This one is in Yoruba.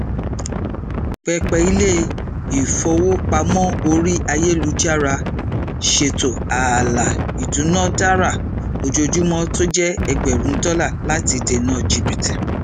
pẹpẹ ilé ifowopamọ orí ayélujára ṣètò ààlà ìdúnádára ojoojúmọ tó jẹ ẹgbẹrún dọlà láti dènà jìbítì